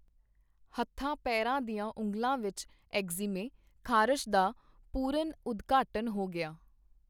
ਹੱਥਾਂ ਪੇਰਾਂ ਦੀਆਂ ਉਂਗਲਾਂ ਵਿਚ ਐਗਜ਼ੀਮੇ (ਖਾਰਸ਼) ਦਾ ਪੁਰਨ ਉਦਘਾਟਨ ਹੋ ਗਿਆ.